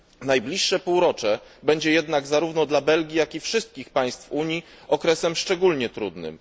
Najbliższe półrocze będzie jednak zarówno dla Belgii, jak i wszystkich państw Unii okresem szczególnie trudnym.